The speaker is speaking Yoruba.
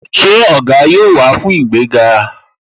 Ṣé Ògá yóò wá fún ìgbéga?